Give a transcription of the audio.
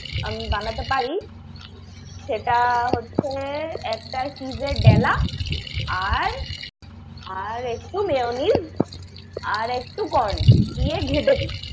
আমি বানাতে পারি। সেটা হচ্ছে একটা cheese এর ডেলা, আর আর একটু mayonnaise আর একটু corn দিয়ে ঘেঁটে দিই।